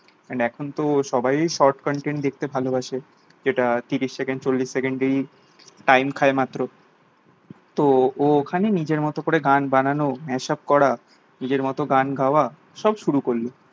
and এখনতো সবাই sort content দেখতে ভালোবাসে যেটা তিরিশ থেকে চল্লিশ সেকেন্ড ই time খায় মাত্র তো ও ওখানে নিজের মতো করে গান বানানো mashup করা নিজের মতো গান গাওয়া সব শুরু করলো